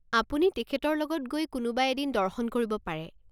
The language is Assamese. আপুনি তেখেতৰ লগত গৈ কোনোবা এদিন দৰ্শন কৰিব পাৰে।